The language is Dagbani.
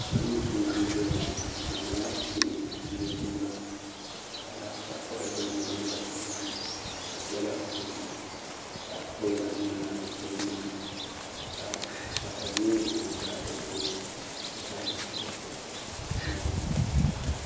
salo n laɣim zaya ŋɔ be nyɛla bihi ni nachɛmiba ka paɣ' sara gba nyɛ ban kani be puuni be pɛla ƒɔli ka gbala ŋmɛna be nuhini ka pata nyɛ di za be tuuni ka be dɛhira bɛnidira